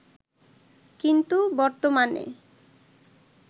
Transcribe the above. কিন্তু বর্তমানে